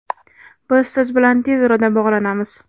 Biz siz bilan tez orada bog‘lanamiz!.